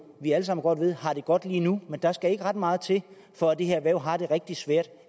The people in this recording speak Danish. vi alle sammen godt ved har det godt lige nu men der skal ikke ret meget til for at det her erhverv har det rigtig svært